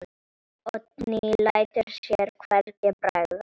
Oddný lætur sér hvergi bregða.